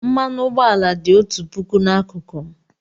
Mmanụ ụgbọala dị otu puku n'akụkụ m.